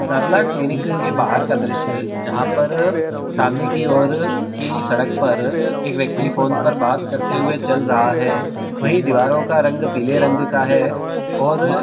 clinic के भारत का दृश्य जहां पर सामने की ओर की सड़क पर एक व्यक्ति फोन पर बात करते हुए चल रहा है वही दीवारों का रंग पीले रंग का है और --